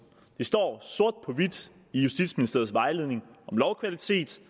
det står sort på hvidt i justitsministeriets vejledning om lovkvalitet